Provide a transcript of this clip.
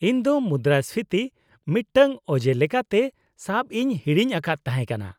-ᱤᱧ ᱫᱚ ᱢᱩᱫᱽᱨᱟᱹᱥᱯᱷᱤᱛᱤ ᱢᱤᱫᱴᱟᱝ ᱚᱡᱮ ᱞᱮᱠᱟᱛᱮ ᱥᱟᱵ ᱤᱧ ᱦᱤᱲᱤᱧ ᱟᱠᱟᱫ ᱛᱟᱦᱮᱸᱠᱟᱱᱟ ᱾